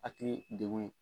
Hakili dekun ye.